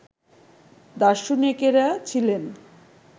দার্শনিকেরা ছিলেন